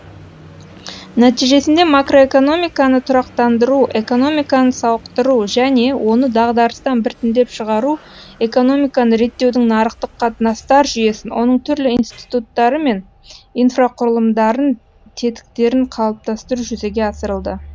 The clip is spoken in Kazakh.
нәтижесінде макроэкономиканы тұрақтандыру экономиканы сауықтыру және оны дағдарыстан біртіндеп шығару экономиканы реттеудің нарықтық қатынастар жүйесін оның түрлі институттары мен инфрақұрылымдарын тетіктерін қалыптастыру жүзеге асырылды